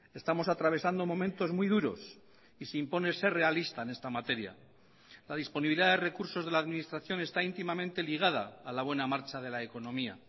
estamos atravesando momentos muy duros y se impone ser realista en esta materia la disponibilidad de recursos de la administración está íntimamente ligada a la buena marcha de la economía